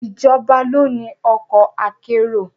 Ìjọba ló ni ọkọ̀ akérò